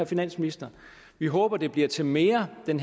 finansministeren vi håber at det bliver til mere end